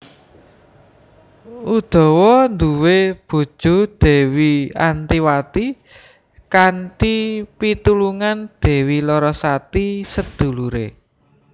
Udawa nduwe bojo Dewi Antiwati kanthi pitulungan Dewi Larasati sedulure